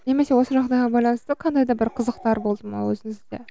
немесе осы жағдайға байланысты қандай да бір қызықтар болды ма өзіңізде